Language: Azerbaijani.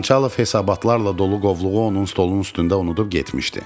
Xançalov hesabatlarla dolu qovluğu onun stolunun üstündə unudub getmişdi.